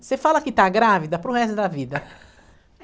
Você fala que está grávida para o resto da vida.